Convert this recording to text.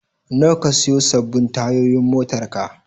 Nawa ka sayo sabbin tayoyin motarka?